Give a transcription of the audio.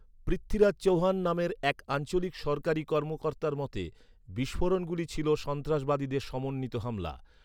পৃথ্বীরাজ চহ্বান নামের এক আঞ্চলিক সরকারি কর্মকর্তার মতে, বিস্ফোরণগুলো ছিল "সন্ত্রাসবাদীদের সমন্বিত হামলা।"